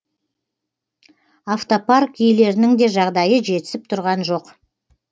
автопарк иелерінің де жағдайы жетісіп тұрған жоқ